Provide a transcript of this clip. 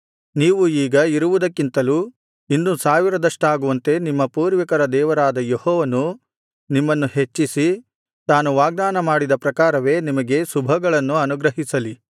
ನೀವು ಈಗ ಇರುವುದಕ್ಕಿಂತಲೂ ಇನ್ನು ಸಾವಿರದಷ್ಟಾಗುವಂತೆ ನಿಮ್ಮ ಪೂರ್ವಿಕರ ದೇವರಾದ ಯೆಹೋವನು ನಿಮ್ಮನ್ನು ಹೆಚ್ಚಿಸಿ ತಾನು ವಾಗ್ದಾನಮಾಡಿದ ಪ್ರಕಾರವೇ ನಿಮಗೆ ಶುಭಗಳನ್ನು ಅನುಗ್ರಹಿಸಲಿ